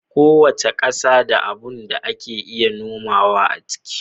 Kowace ƙasa da abun da ake iya nomawa a ciki